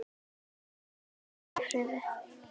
Megi þau hvíla í friði.